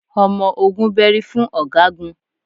Ọmọ ogun bẹ́rí fún ọ̀gágun